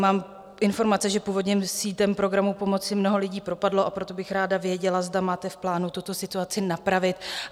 Mám informace, že původně sítem programu pomoci mnoho lidí propadlo, a proto bych ráda věděla, zda máte v plánu tuto situaci napravit.